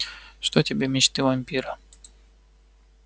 что тебе мечты вампира